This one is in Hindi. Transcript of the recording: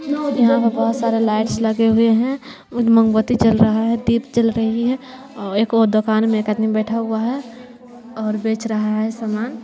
यहां पे बहुत सारे लाइट्स लगे हुए हैं मोमबत्ती जल रहा है दीप जल रही है एक और दुकान में एक आदमी बैठा हुआ है और बेच रहा है सामान।